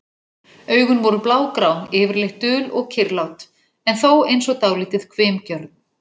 Augun voru blágrá, yfirleitt dul og kyrrlát, en þó eins og dálítið hvimgjörn.